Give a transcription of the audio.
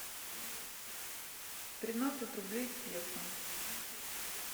тринадцать рублей в песо